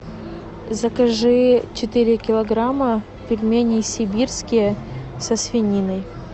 закажи четыре килограмма пельменей сибирские со свининой